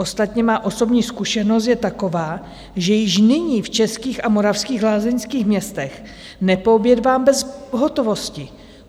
Ostatně má osobní zkušenost je taková, že již nyní v českých a moravských lázeňských městech nepoobědvám bez pohotovosti.